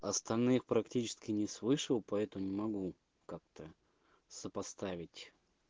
остальные практически не слышал поэтому могу как-то сопоставить